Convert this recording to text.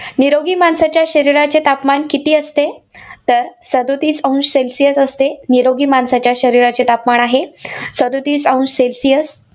निरोगी माणसाच्या शरीराचे तापमान किती असते? तर, सदोतीस अंश celsius असते. निरोगी माणसाच्या शरीराचे तापमान आहे, सदोतीस अंश celcius